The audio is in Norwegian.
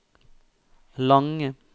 lange